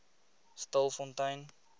stilfontein